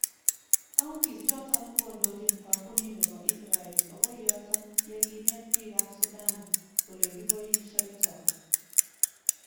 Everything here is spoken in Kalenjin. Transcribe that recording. Counties ichoton kondochin kampunit nebo Israel okoi yoton yekinet bik kap Sudan elekiboishoito.